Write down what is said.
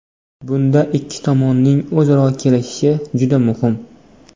Bunda ikki tomonning o‘zaro kelishishi juda muhim.